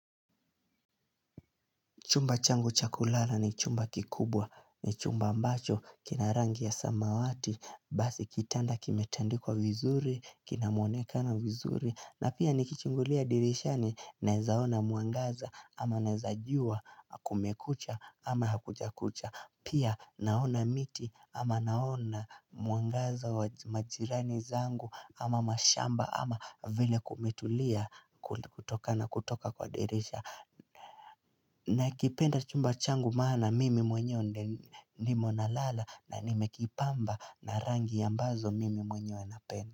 Chumba changu cha kulala ni chumba kikubwa. Ni chumba ambacho, kina rangi ya samawati. Basi kitanda kimetandikwa vizuri, kina mwonekano vizuri, na pia nikichungulia dirishani nawezaona mwangaza ama naweza jua kumekucha ama hakujakucha. Pia naona miti ama naona mwangaza, majirani zangu ama mashamba ama vile kumetulia kutoka kwa dirisha. Nakipenda chumba changu maana mimi mwenyewe ndimo nalala na nimekipamba na rangi ambazo mimi mwenyewe napenda.